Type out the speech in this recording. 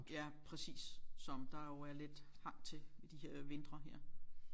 Ja præcis som der jo er lidt hang til i de her vintre her